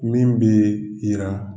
Min bɛ yira